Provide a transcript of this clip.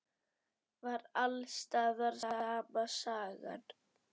Var alls staðar sama sagan?